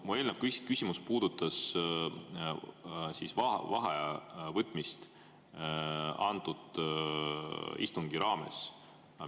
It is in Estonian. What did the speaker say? Mu eelnev küsimus puudutas vaheaja võtmist antud istungi ajal.